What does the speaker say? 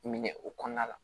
Minɛ o kɔnɔna la